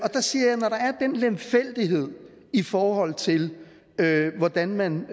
den lemfældighed i forhold til hvordan man